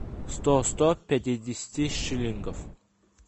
сто сто пятидесяти шиллингов